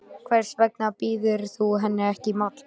Hvers vegna býður þú henni ekki í mat.